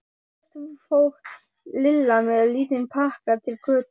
Fyrst fór Lilla með lítinn pakka til Kötu í